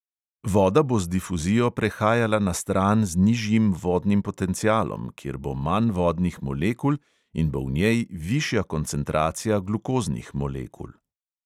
Voda bo z difuzijo prehajala na stran z nižjim vodnim potencialom, kjer bo manj vodnih molekul in bo v njej višja koncentracija glukoznih molekul.